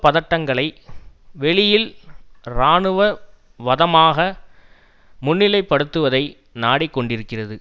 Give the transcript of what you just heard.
பதட்டங்களை வெளியில் இராணுவ வதமாக முன்னிலைப்படுத்துவதை நாடிக்கொண்டிருக்கிறது